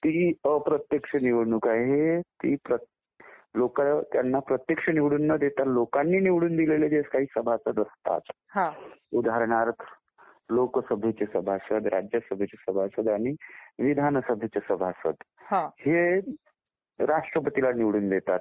ती एक अप्रत्यक्ष निवडणूक आहे. लोक त्यांना प्रत्यक्ष निवडून न देता लोकांनी निवडून दिलेले जे सभासद असतात उदाहरणार्थ लोकसभेचे सभासद, राज्यसभेचे सभासद आणि विधानसभेचे सभासद हे राष्ट्रपतीला निवडून देतात.